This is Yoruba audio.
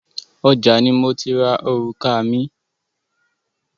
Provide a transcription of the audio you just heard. Ọjà ni mo ti ra orùka mi.